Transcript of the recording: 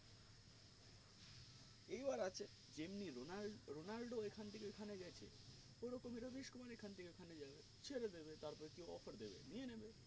এই বার আছে যেমনি রোনাল্ডো রোনাল্ডো এখন থেকে ওখানে গেছে ওই রকম এরা এখন থেকে ওখানে যাবে ছেড়ে দেবে তার পড়ে কি offer দেবে নিয়েনেবে